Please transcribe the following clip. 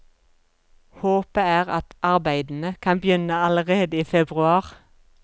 Håpet er at arbeidene kan begynne allerede i februar.